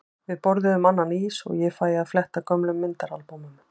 Við borðum annan ís og ég fæ að fletta gömlum myndaalbúmum.